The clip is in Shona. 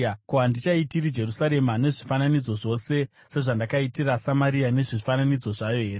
ko, handichaitiri Jerusarema nezvifananidzo zvaro sezvandakaitira Samaria nezvifananidzo zvayo here?’ ”